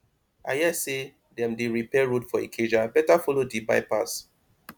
i hear say dem dey repair road for ikeja better follow di bypass